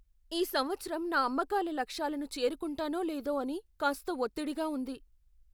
ఈ సంవత్సరం నా అమ్మకాల లక్ష్యాలను చేరుకుంటానో లేదో అని కాస్త ఒత్తిడిగా ఉంది.